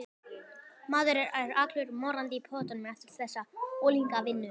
Maður er allur morandi í pöddum eftir þessa unglingavinnu.